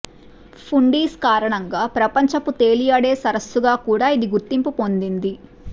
ఫుండీస్ కారణంగా ప్రపంచపు తేలియాడే సరస్సుగా కూడా ఇది గుర్తింపు పొందింది